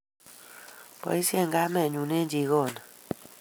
Boishe kamennyu eng jikoni